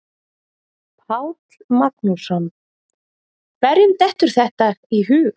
Páll Magnússon: Hverjum dettur þetta í hug?